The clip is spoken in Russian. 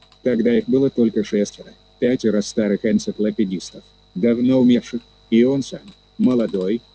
тогда их было только шестеро пятеро старых энциклопедистов давно умерших и он сам молодой упрямый мэр